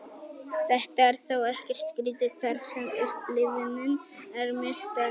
þetta er þó ekkert skrítið þar sem upplifunin er mjög sterk